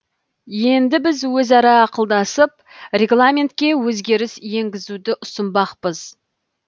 енді біз өзара ақылдасып регламентке өзгеріс енгізуді ұсынбақпыз